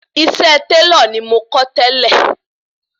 Iṣẹ́ Tẹ́lọ̀ ni mo kó tẹ́lẹ̀